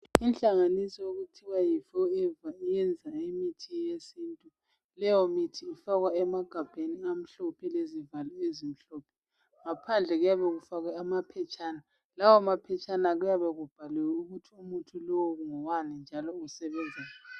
Inhlanganiso okuthiwa Yi forever ,iyenza imithi yesintu .Leyo mithi ifakwa emagabheni amhlophe lezivalo ezimhlophe. Ngaphandle kuyabe kufakwe amaphetshana lawo maphetshana kuyabe kubhaliwe ukuthi umuthi lowo ngowani njalo usebenzani.